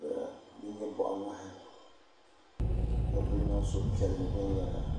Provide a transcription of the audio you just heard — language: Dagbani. ka di nyɛ boɣa ŋmahi ka ku niŋ suhupiɛlli viɛnyɛla